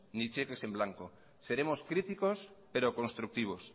ni cheques en blanco seremos críticos pero constructivos